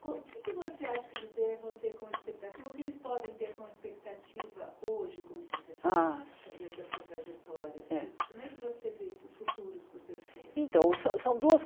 O que é que você acha que eles devem ter como expectativa, ou que eles podem ter como expectativa hoje como professor? Ah trajetória Eh Como é que você vê esses futuros do então são são duas